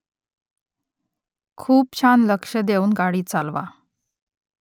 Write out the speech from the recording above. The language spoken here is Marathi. खूप छान लक्ष देऊन गाडी चालवा